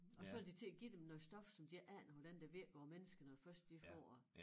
Og så vil de til at give dem noget stof som de ikke aner hvordan det virker på mennesker når først de får det